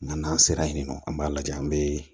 Nan'a sera yen nɔ an b'a lajɛ an be